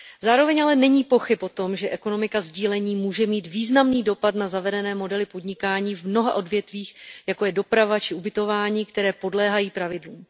Zároveň ale není pochyb o tom, že ekonomika sdílení může mít významný dopad na zavedené modely podnikání v mnoha odvětvích, jako je doprava či ubytování, které podléhají pravidlům.